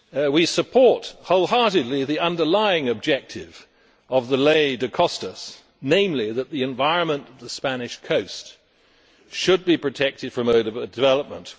We support wholeheartedly the underlying objective of the Ley de Costas namely that the environment of the Spanish coast should be protected from overdevelopment